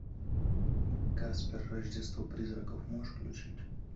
каспер рождество призраков можешь включить